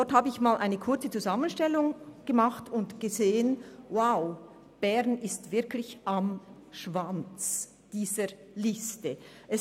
Ich habe einmal eine kurze Zusammenstellung gemacht und gesehen, dass Bern wirklich am unteren Ende dieser Liste steht.